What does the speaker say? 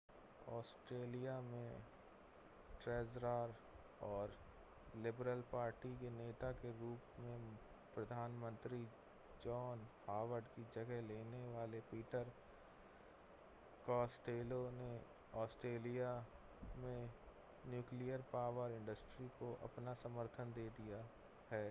Australia के treasurer और Liberal Party के नेता के रूप में प्रधानमंत्री जॉन हॉवर्ड की जगह लेने वाले पीटर कास्टेलो ने ऑस्ट्रेलिया में न्यूक़्लियर पॉवर इंडस्ट्री को अपना समर्थन दे दिया है